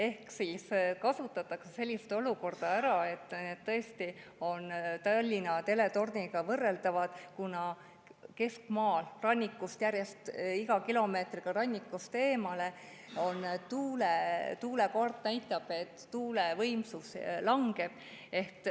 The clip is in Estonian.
Ehk kasutatakse ära olukorda – need on tõesti Tallinna teletorniga võrreldavad –, kus keskmaal iga kilomeetriga, mille võrra minna rannikust eemale, tuulekaart näitab, et tuulevõimsus järjest langeb.